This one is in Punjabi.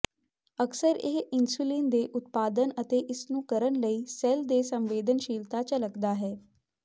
ਅਕਸਰ ਇਹ ਇਨਸੁਲਿਨ ਦੇ ਉਤਪਾਦਨ ਅਤੇ ਇਸ ਨੂੰ ਕਰਨ ਲਈ ਸੈੱਲ ਦੇ ਸੰਵੇਦਨਸ਼ੀਲਤਾ ਝਲਕਦਾ ਹੈ